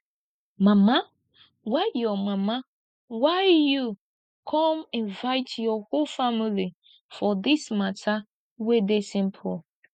mama why you mama why you come invite your whole family for dis matter wey dey simple